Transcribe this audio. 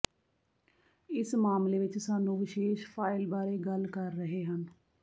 ਇਸ ਮਾਮਲੇ ਵਿੱਚ ਸਾਨੂੰ ਵਿਸ਼ੇਸ਼ ਫਾਇਲ ਬਾਰੇ ਗੱਲ ਕਰ ਰਹੇ ਹਨ